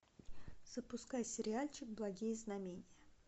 запускай сериальчик благие знамения